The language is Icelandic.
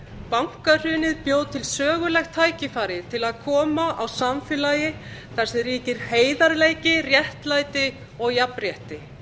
bankahrunið bjó til sögulegt tækifæri til að koma á samfélagi þar sem ríkir heiðarleiki réttlæti og jafnrétti